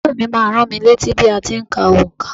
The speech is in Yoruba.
Ọ̀rẹ́ mi má a n rán mi létí bí a ti n ka onkà